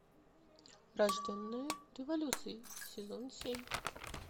рожденная революцией сезон семь